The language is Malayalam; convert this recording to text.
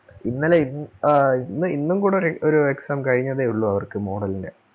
ഇന്നലെ ഇ ആഹ് ഇന്ന് ഇന്നും കൂടെ ഒര് ഒരു exam കഴിഞ്ഞതേ ഒള്ളൂ അവർക്ക് model ന്റെ.